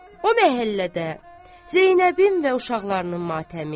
O məhəllədə Zeynəbin və uşaqlarının matəmi.